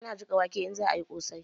Ana jika wake in za'a yi ƙosai